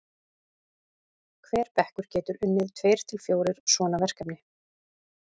hver bekkur getur unnið tveir til fjórir svona verkefni